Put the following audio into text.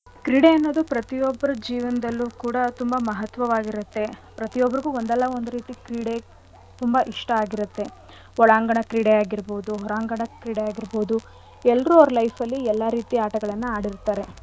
ಕ್ರೀಡೆ ಅನ್ನೋದು ಪ್ರತಿವೊಬ್ರ ಜೀವನದಲ್ಲೂ ಕೂಡ ತುಂಬಾ ಮಹತ್ವವಾಗಿರತ್ತೆ. ಪ್ರತಿಯೋಬ್ಬರಿಗೂ ಒಂದಲ್ಲ ಒಂದ್ ರೀತಿ ಕ್ರೀಡೆ ತುಂಬಾ ಇಷ್ಟ ಆಗಿರತ್ತೆ. ಒಳಾಂಗಣ ಕ್ರೀಡೆ ಆಗಿರ್ಬೋದು ಹೊರಾಂಗಣ ಕ್ರೀಡೆ ಆಗಿರ್ಬೋದು ಎಲ್ರೂ ಅವ್ರ life ಅಲ್ಲಿ ಎಲ್ಲಾ ರೀತಿ ಆಟಗಳ್ನ ಆಡಿರ್ತಾರೆ.